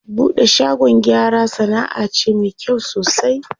Buɗe shagon gyara sanaʼa ce me kyau sosai.